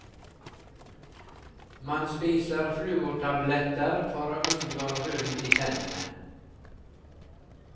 Man spiser fluortabletter for å unngå hull i tennene.